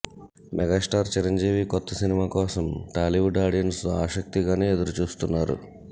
megastar Chiranjeevi కొత్త సినిమా కోసం టాలీవుడ్ ఆడియన్స్ ఆసక్తిగానే ఎదురుచూస్తున్నారు